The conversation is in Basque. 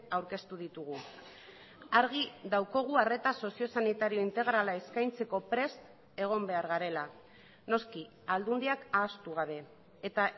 aurkeztu ditugu argi daukagu arreta sozio sanitario integrala eskaintzeko prest egon behar garela noski aldundiak ahaztu gabe eta